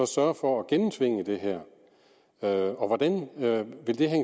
sørge for at gennemtvinge det her og hvordan hænger det